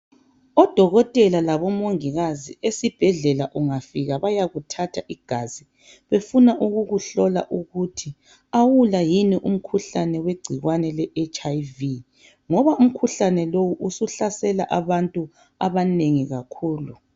Odokotela labomongikazi esibhedlela ungafika bayakuthatha igazi befuna ukukuhlola ukuthi awula yini umkhuhlane wegcikwane le hiv ngoba umkhuhlane lo usuhlasele abantu abanengi kakhulu.